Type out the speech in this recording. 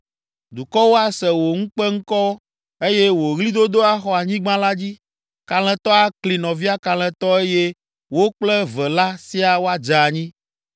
Dukɔwo ase wò ŋukpeŋkɔ eye wò ɣlidodo axɔ anyigba la dzi. Kalẽtɔ akli nɔvia kalẽtɔ eye wo kple eve la siaa woadze anyi.”